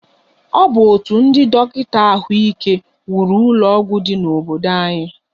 Ọ bụ otu ndị dọkịta ahụike wuru ụlọọgwụ dị n'obodo anyi